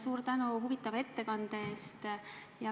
Suur tänu huvitava ettekande eest!